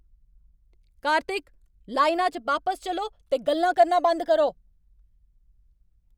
कार्तिक! लाइना च बापस चलो ते गल्लां करना बंद करो।